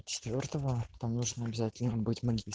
четвёртому там нужно обязательно быть магис